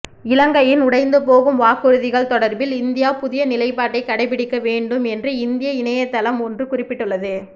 இலங்கையின் உடைந்துபோகும் வாக்குறுதிகள் தொடர்பில் இந்தியா புதிய நிலைப்பாட்டை கடைபிடிக்க வேண்டும் என்று இந்திய இணைத்தளம் ஒன்று குறிப்பிட்டுள்ளது